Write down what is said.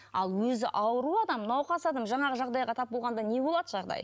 ал өзі ауру адам науқас адам жаңағы жағдайға тап болғанда не болады жағдайы